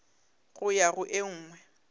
go ya go e nngwe